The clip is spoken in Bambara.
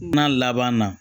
N'a laban na